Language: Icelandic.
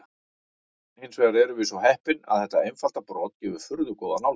Hins vegar erum við svo heppin að þetta einfalda brot gefur furðu góða nálgun.